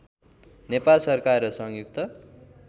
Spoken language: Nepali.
नेपाल सरकार र संयुक्त